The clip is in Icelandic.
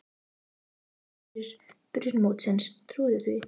Tveimur vikum fyrir byrjun mótsins, trúiði því?